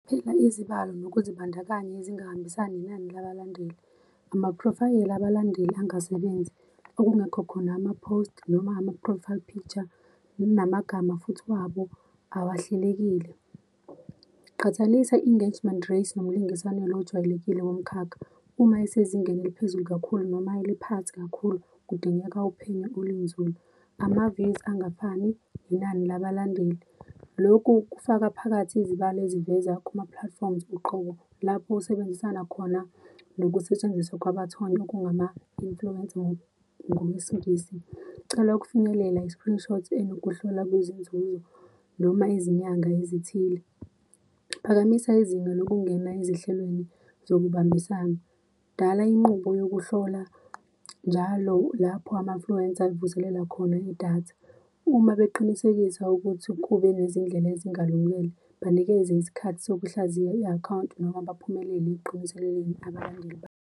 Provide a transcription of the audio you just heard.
izibalo nokuzibandakanya ezingahambisani nenani labalandeli, amaphrofayeli abalandeli angasebenzi, okungekho khona ama-post noma ama-profile picture, namagama futhi wabo awahlelekile. Qhathanisa i-engagement rates nomlingiswane lo ojwayelekile womkhakha, uma esezingeni eliphezulu kakhulu, noma eliphansi kakhulu, kudingeka uphenyo olunzulu. Ama-views angafani, inani labalandeli, lokhu kufaka phakathi izibalo eziveza kuma-platforms uqobo lapho usebenzisana khona nokusetshenziswa kwabathonywa, kungama-influencers, ngokwesiNgisi. Cela ukufinyelela i-screenshot enokuhlolwa kwezinzuzo noma izinyanga ezithile. Phakamisa izinga lokungena ezihlelweni zokubambisana, dala inqubo yokuhlola njalo lapho ama-influencer avuselela khona idatha. Uma beqinisekisa ukuthi kube nezindlela ezingalungelwe, banikeze isikhathi sokuhlaziya i-akhawunti, noma baphumelele ekuqiniseleleni abalandeli babo.